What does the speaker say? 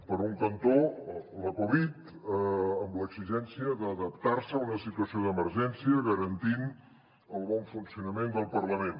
per un cantó la covid amb l’exigència d’adaptar se a una situació d’emergència garantint el bon funcionament del parlament